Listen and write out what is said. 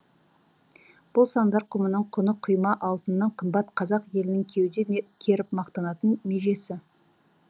бұл сандар құмының құны құйма алтыннан қымбат қазақ елінің кеуде керіп мақтанатын межесі